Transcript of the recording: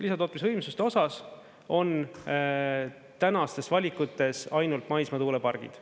Lisatootmisvõimsuste osas on tänastes valikutes ainult maismaatuulepargid.